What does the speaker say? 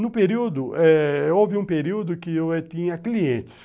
No período eh... houve um período que eu tinha clientes.